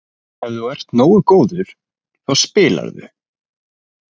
Ef þú ert nógu góður þá spilarðu.